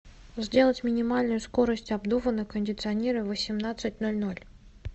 сделать минимальную скорость обдува на кондиционере в восемнадцать ноль ноль